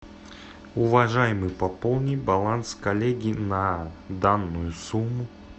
уважаемый пополни баланс коллеги на данную сумму